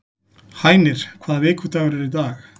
Hænir, hvaða vikudagur er í dag?